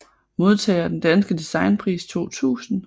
Modtager af Den danske Designpris 2000